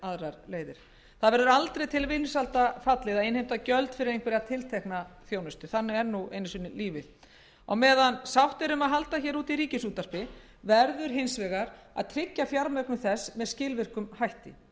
en aðrar það verður aldrei til vinsælda fallið að innheimta gjöld fyrir einhverja tiltekna þjónustu þannig er nú einu sinni lífið á meðan sátt er um að halda úti ríkisútvarpi verður hins vegar að tryggja fjármögnun þess með skilvirkum hætti